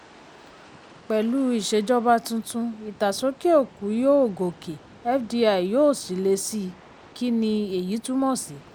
pẹ̀lú ìṣèjọba tuntun ìtàsókè-òkú yóò gòkè fdi yóò sì lé síi kí ni èyí túmọ̀ sí?